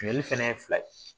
Minɛni fana ye fila ye